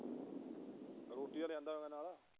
ਰੋਟੀ ਤਾਂ ਲਿਆਂਦਾ ਹੋਏਗਾ ਨਾਲ।